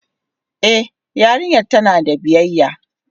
E yarinyar tana da biyayya.